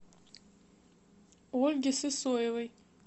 ольге сысоевой